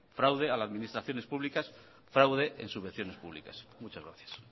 fraude a las administraciones públicas fraude en subvenciones públicas muchas gracias